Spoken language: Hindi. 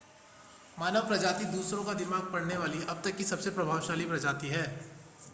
मानव प्रजाति दूसरों का दिमाग पढ़ने वाली अब तक की सबसे प्रतिभाशाली प्रजाति है